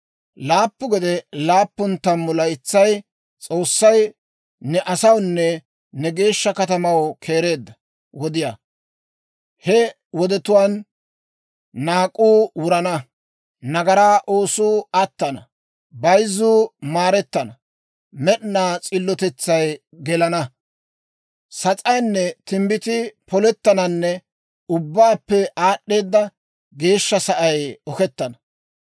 «Laappu gede laappun tammu laytsay S'oossay ne asawunne ne geeshsha katamaw keereedda wodiyaa. He wodetuwaan naak'uu wurana; nagaraa oosuu attana; bayzzuu maarettana; med'inaa s'illotetsay gelana; sas'aynne timbbitii polettananne Ubbaappe Aad'd'eeda Geeshsha Sa'ay oketana.